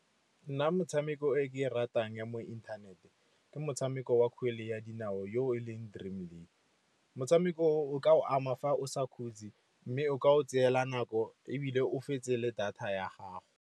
Nna motshameko e ke e ratang ya mo inthaneteng ke motshameko wa kgwele ya dinao yo e leng Dream League. Motshameko o o ka go ama fa o sa khutsi mme o ka go tsela nako, ebile o fetse le data ya gago.